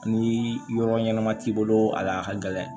Ni yɔrɔ ɲɛnama t'i bolo a la a ka gɛlɛn